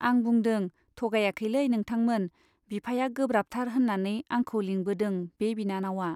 आं बुंदों, थगायाखैलै नोंथांमोन बिफाया गोब्राबथार होन्नानै आंखौ लिंबोदों बे बिनानावा।